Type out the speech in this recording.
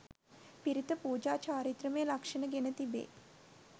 පිරිත පුජා චාරිත්‍රමය ලක්ෂණ ගෙන තිබේ.